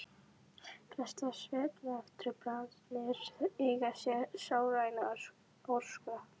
Flestar svefntruflanir eiga sér sálræna orsök.